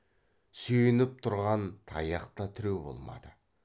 сүйеніп тұрған таяқ та тіреу болмады